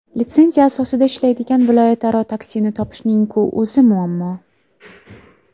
Litsenziya asosida ishlaydigan viloyatlararo taksini topishning-ku o‘zi muammo.